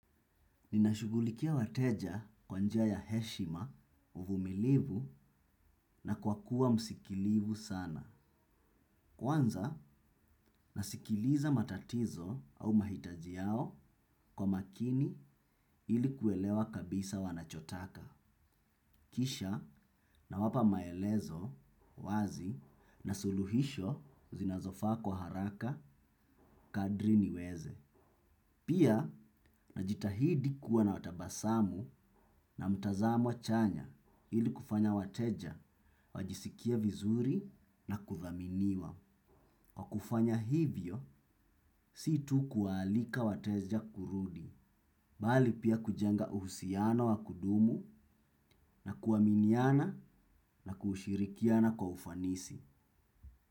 Ninashugulikia wateja kwanza ya heshima uvumilivu na kwa kuwa msikilivu sana. Kwanza nasikiliza matatizo au mahitajiao kwa makini ilikuelewa kabisa wanachotaka. Kisha na wapa maelezo wazi na suluhisho zinazofaa kwa haraka kadri niweze. Pia, najitahidi kuwa na watabasamu na mtazamu chanya ili kufanya wateja, wajisikie vizuri na kuthaminiwa. Kwa kufanya hivyo, si tu kuwaalika wateja kurudi. Bali pia kujenga uhusiano wa kudumu na kuaminiana na kushirikiana kwa ufanisi.